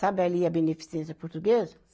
Sabe ali a Beneficência Portuguesa?